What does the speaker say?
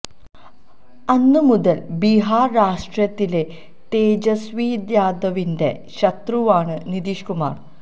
അന്ന് മുതല് ബിഹാര് രാഷ്ട്രീയത്തിലെ തേജസ്വി യാദവിന്റെ ശത്രുവാണ് നിതീഷ് കുമാര്